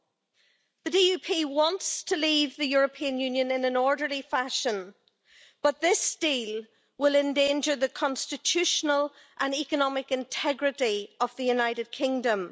The Democratic Unionist Party wants to leave the European Union in an orderly fashion, but this deal will endanger the constitutional and economic integrity of the United Kingdom.